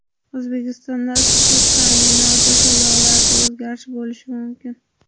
O‘zbekistonda issiqlik ta’minoti to‘lovlarida o‘zgarish bo‘lishi mumkin .